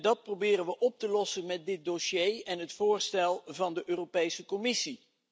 Dat proberen we op te lossen met dit dossier en het voorstel van de Europese Commissie.